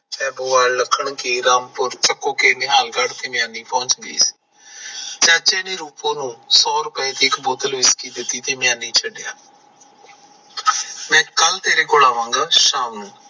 ਸੈਦੋਵਾਲ ਨਿਹਾਲਗੜ ਪਹੁੰਚ ਗਈ ਸੀ ਚਾਚੇ ਨੇ ਰੂਪੋ ਨੂੰ ਸੋ ਰੁਪਏ ਦੀ ਇੱਕ ਬੋਤਲ whisky ਦਿੱਤੀ ਮੈਂ ਕੱਲ ਤੇਰੇ ਕੋਲ ਆਵਾਂਗਾ ਸ਼ਾਮ ਨੂੰ